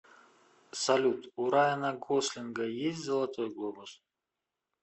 салют у райана гослинга есть золотой глобус